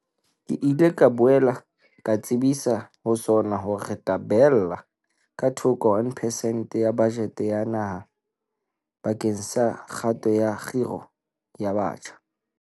Ke ile ka boela ka tsebisa ho SoNA hore re tla beella ka thoko 1 percent ya bajete ya naha bakeng sa kgato ya kgiro ya batjha.